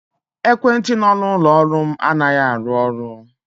Ekwentị nọ n'ụlọ ọrụ m anaghị arụ ọrụ.